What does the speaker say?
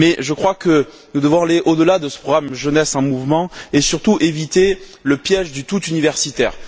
Mais je crois que nous devons aller au delà de ce programme Jeunesse en mouvement et surtout éviter le piège du tout universitaire.